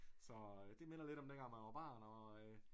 Så det minder lidt om dengang man var barn og